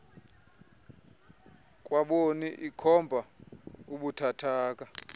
kwaboni ikhomba ubuthathaka